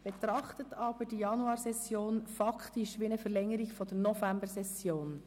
Betrachten Sie die Januarsession aber faktisch als Verlängerung der Novembersession.